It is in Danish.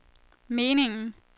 meningen